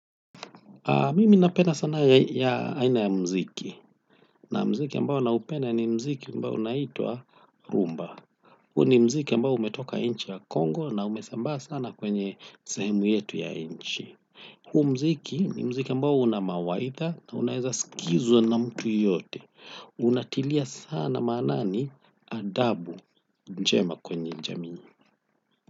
Mimi napenda sana aina ya muziki na muziki ambao naupenda ni muziki ambao unaitwa Rumba. Huo ni muziki ambao umetoka nchi ya Kongo na umesambaa sana kwenye sehemu yetu ya nchi. Huu muziki ni muziki ambao una mawaidha na unaweza kusikizwa na mtu yeyote. Unatilia sana maanani adabu njema kwenye jamii.